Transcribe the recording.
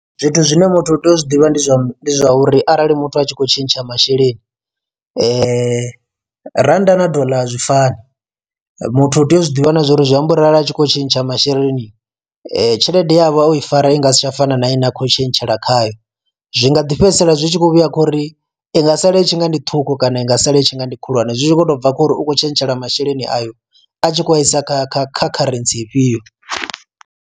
Zwithu zwine muthu u tea u zwiḓivha ndi zwa uri arali muthu a tshi khou tshintsha masheleni, randa na dollar a zwifani muthu u tea u zwiḓivha na zwori zwi amba uri arali a tshi kho tshintsha masheleni tshelede yavho o i fara i nga si tsha fana na ine a khou tshintshela khayo. Zwi nga ḓi fhedzisela zwi tshi khou vhuya khouri i nga sala itshi nga ndi ṱhukhu kana i nga sala i tshi nga ndi khulwane zwi tshi kho to bva khori u kho tshentshela masheleni ayo a tshi khou a isa kha kha kha kharentsi ifhio.